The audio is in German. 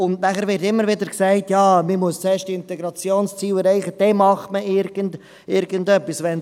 Es wird immer wieder gesagt, dass man zuerst die Integrationsziele erreicht, und erst dann wird irgendetwas gemacht.